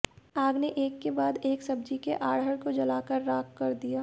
आग ने एक के बाद एक सब्जी के आढ़त को जलाकर राख कर दिया